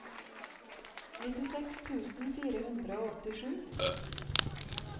nittiseks tusen fire hundre og åttisju